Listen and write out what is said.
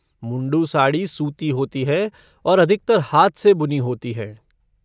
मुंडू साड़ी सूती होती हैं और अधिकतर हाथ से बुनी होती हैं।